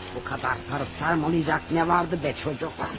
Bu qədər sarıb sarmalayacaq nə vardı be, çocuk?